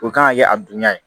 O kan ka kɛ a dunya ye